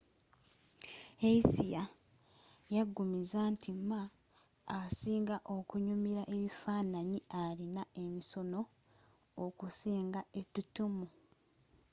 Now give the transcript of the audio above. hsieh yaggumiza nti ma asinga okunyimila ebifanaanyi alina emisono okusinga ettutumu